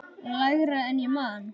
Lægra en ég man.